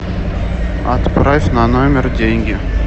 отправь на номер деньги